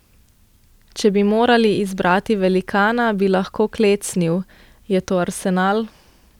Če bi morali izbrati velikana, ki bi lahko klecnil, je to Arsenal.